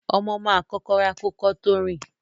Ọmọ ma kókó rà kò kọ tó rin.